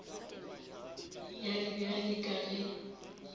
ya re bjale ka ge